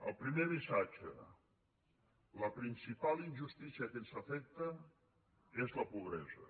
el primer missatge la principal injustícia que ens afecta és la pobresa